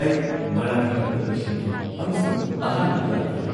ꯑꯩ ꯃꯥꯔꯥꯊꯣꯟ ꯑꯗꯨ ꯂꯣꯏꯁꯤꯟꯈꯤ ꯑꯃꯁꯨꯡ ꯑꯍꯥꯟꯕꯗ ꯂꯥꯛꯈꯤ꯫